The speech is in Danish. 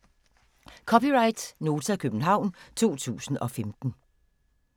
(c) Nota, København 2015